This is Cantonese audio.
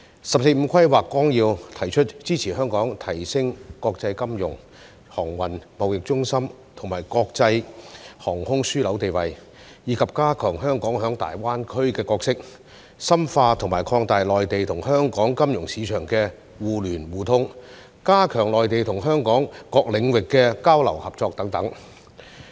《十四五規劃綱要》提出支持香港提升國際金融、航運、貿易中心和國際航空樞紐地位，以及加強香港在粵港澳大灣區的角色，深化和擴大內地與香港金融市場的互聯互通，加強內地與香港各領域的交流和合作等。